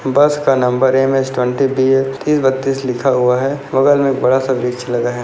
बस का number MH twenty BL तीस बत्तीस लिखा हुआ है बगल मे बड़ा सा ब्रिज लगा है।